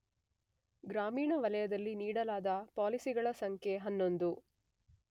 ಗ್ರಾಮೀಣ ವಲಯದಲ್ಲಿ ನೀಡಲಾದ ಪಾಲಿಸಿಗಳ ಸಂಖ್ಯೆ 11